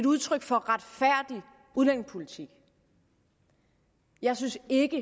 udtryk for retfærdig udlændingepolitik jeg synes ikke